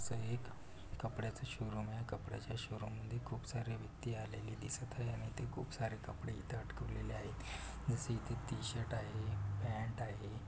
कपड्यांच showroom आहे कपड्याच showroom मधी खूप सारी वित्ती आलेली दिसत आहे आणि ते खूप सारे कपडे तिथे अटकवलेले आहे जसं इथ टी-शर्ट आहे पॅंट आहे.